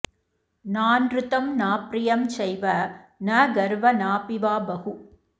नानृतं नाप्रियं चैव न गर्व नापि वा बहु